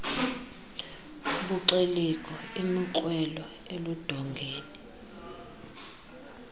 buxelegu imikrwelo erludongeni